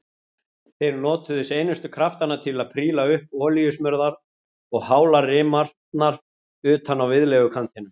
Þeir notuðu seinustu kraftana til að príla upp olíusmurðar og hálar rimarnar utan á viðlegukantinum.